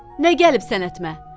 Nə gəlib sənətimə?